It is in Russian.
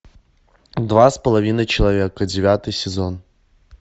два с половиной человека девятый сезон